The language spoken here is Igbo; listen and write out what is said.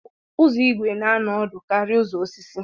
Ụzọ igwe na anọ ọdụ karịa ụzọ osisi.